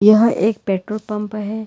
यह एक petrol pump है।